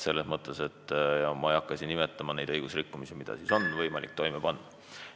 Siin ma küll ei hakka nimetama neid õigusrikkumisi, mida on võimalik toime panna.